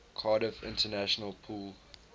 cardiff international pool